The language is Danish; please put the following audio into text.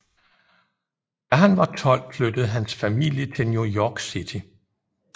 Da han var 12 flyttede hans familie til New York City